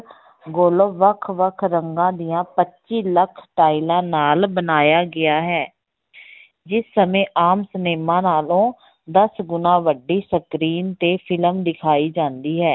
Global ਵੱਖ ਵੱਖ ਰੰਗਾਂ ਦੀਆਂ ਪੱਚੀ ਲੱਖ ਟਾਇਲਾਂ ਨਾਲ ਬਣਾਇਆ ਗਿਆ ਹੈ ਜਿਸ ਸਮੇਂ ਆਮ ਸਿਨੇਮਾ ਨਾਲੋਂ ਦਸ ਗੁਣਾ ਵੱਡੀ screen ਤੇ film ਦਿਖਾਈ ਜਾਂਦੀ ਹੈ।